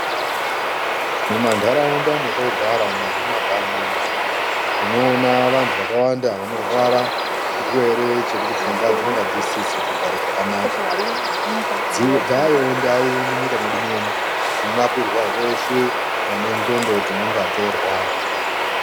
Mumanharaunda mwatogara umwu nemumakanyi umwu unoona vantu vakawanda vanorwara nechirwere chekuti pfungwa dzinonga dzisisizi kugare zvakanaka ,dzaayowo ndawu munyika mwedu muno munorapirwa veshe vane ndhlondo dzinonga dzoorwara.